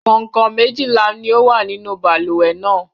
Kàǹkọ̀ méjìlá ni ó wà nínú balùwẹ̀ náà.